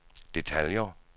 detaljer